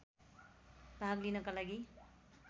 भाग लिनका लागि